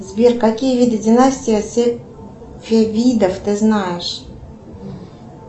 сбер какие виды династий сефевидов ты знаешь